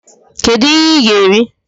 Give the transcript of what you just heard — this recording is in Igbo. Kedu ihe ị ga-eri?